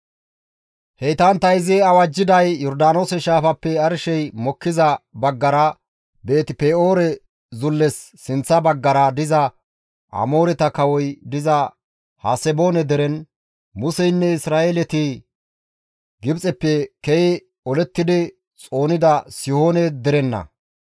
Heytantta izi awajjiday Yordaanoose shaafappe arshey mokkiza baggara Beeti-Pe7oore zulles sinththa baggara diza Amooreta kawoy diza Haseboone deren, Museynne Isra7eeleti Gibxeppe ke7i olettidi xoonida Sihoone derenna.